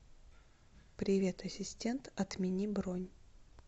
привет ассистент отмени бронь